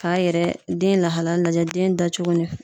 Ka yɛrɛ ,den lahalaya lajɛ den da cogo ni